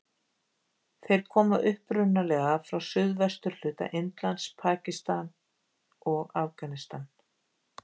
Þeir koma upprunalega frá suðvesturhluta Indlands, Pakistan og Afganistan.